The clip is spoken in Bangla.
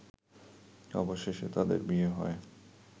অবশেষে তাদের বিয়ে হয়